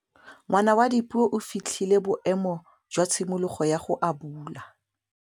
Ngwana wa Dipuo o fitlhile boêmô jwa tshimologô ya go abula.